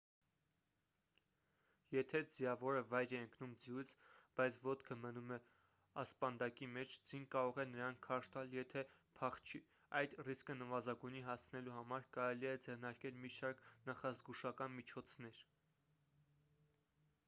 եթե ձիավորը վայր է ընկում ձիուց բայց ոտքը մնում է ասպանդակի մեջ ձին կարող է նրան քարշ տալ եթե փախչի այս ռիսկը նվազագույնի հասցնելու համար կարելի է ձեռնարկել մի շարք նախազգուշական միջոցներ